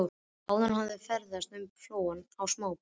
Áður hafði verið ferðast um flóann á smábátum.